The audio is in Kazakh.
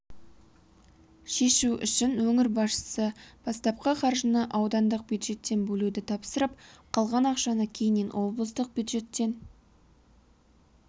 шешу үшін өңір басшысы бастапқы қаржыны аудандық бюджеттен бөлуді тапсырып қалған ақшаны кейіннен облыстық бюджеттен